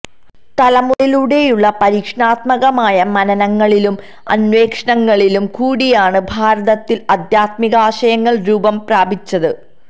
തലമുറകളിലൂടെയുള്ള പരീക്ഷണാത്മകമായ മനനങ്ങളിലും അന്വേഷണങ്ങളിലും കൂടിയാണ് ഭാരതത്തില് ആദ്ധ്യാത്മികാശയങ്ങള് രൂപം പ്രാപിച്ചത്